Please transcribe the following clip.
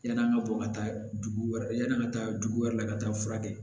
Yann'an ka bɔ ka taa dugu wɛrɛ la yani an ka taa dugu wɛrɛ la ka taa fura kɛ